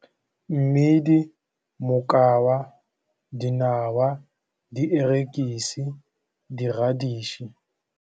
Mmidi, mokwaba, dinawa, dierekise, di-reddish-e.